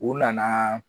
U nana